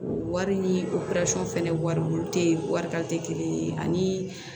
Wari ni fɛnɛ wari te yen wari ta te kelen ye ani